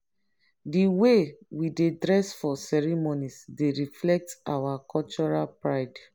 di way we dey dress for ceremonies dey reflect our cultural pride.